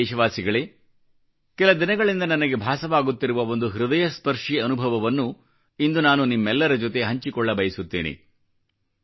ನನ್ನ ಪ್ರಿಯ ದೇಶವಾಸಿಗಳೇ ಕೆಲ ದಿನಗಳಿಂದ ನನಗೆ ಭಾಸವಾಗುತ್ತಿರುವ ಒಂದು ಹೃದಯಸ್ಪರ್ಶಿ ಅನುಭವವನ್ನು ಇಂದು ನಾನು ನಿಮ್ಮೆಲ್ಲರ ಜೊತೆ ಹಂಚಿಕೊಳ್ಳಬಯಸುತ್ತೇನೆ